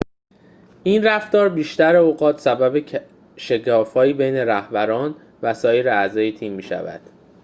این رفتار بیشتر اوقات سبب شکاف‌هایی بین رهبران و سایر اعضای تیم می‌شود